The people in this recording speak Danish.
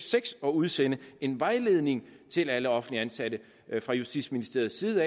seks at udsende en vejledning til alle offentligt ansatte fra justitsministeriets side